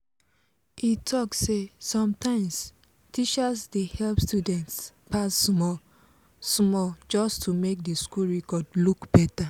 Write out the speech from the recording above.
e talk say sometimes teachers dey help students pass small-small just to make the school record look better.